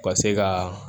U ka se ka